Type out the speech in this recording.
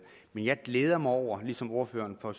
men jeg glæder mig over ligesom ordføreren for